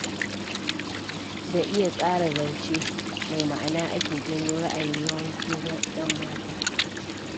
Da iya tsara zance mai ma'ana ake janyo ra'ayin yawancin 'yanmata.